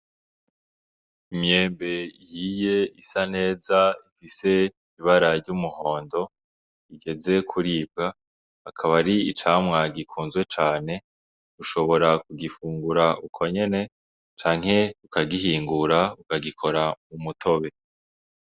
Imyembe ihiye isa neza ifise ibara ry'umuhondo igeze kuribwa, akaba ari icamwa gikunzwe cane, ushobora kugifungura uko nyene canke ukagihingura ukagikora umutobe.